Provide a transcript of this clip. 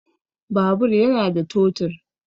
Babur yana da totur